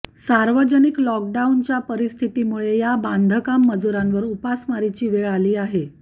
सार्वजनिक लॉकडाऊनच्या परिस्थितीमुळे या बांधकाम मजुरांवर उपासमारीची वेळ आली आहे